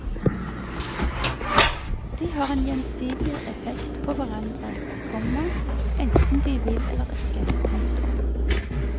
De har en gjensidig effekt på hverandre, komma enten de vil eller ikke. punktum